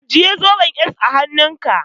Ajiye zoben s hannunka.